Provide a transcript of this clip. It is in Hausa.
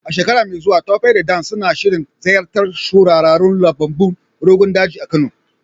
A shekara mai zuwa, Tope da Dan suna shirin ziyartar shahararrun lambunan Rogon Daji a Kano.